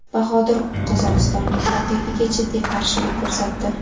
Bahodir qozog‘istonlik raqibiga jiddiy qarshilik ko‘rsatdi.